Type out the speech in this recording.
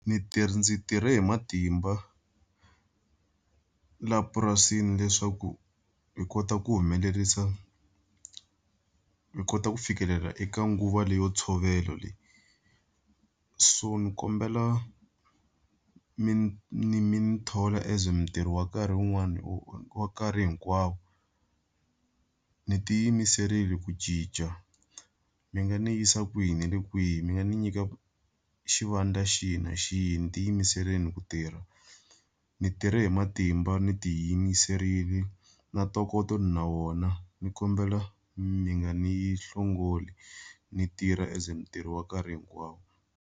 Ndzi ndzi tirhe hi matimba laha purasini leswaku hi kota ku humelerisa hi kota ku fikelela eka nguva leyi ya ntshovelo leyi. So ndzi kombela mi ndzi thola as mutirhi wa karhi wun'wani wa nkarhi hinkwawo. Ndzi tiyimiserile ku cinca, mi nga ndzi yisa kwihi na le kwihi, mi nga ndzi nyika xivandla xihi na xihi ndzi tiyimiserile ku tirha. Ndzi tirhe hi matimba ndzi tiyimiserile na ntokoto ndzi na wona ni kombela mi nga ndzi hlongoli, ndzi tirha as mutirhi wa nkarhi hinkwawo.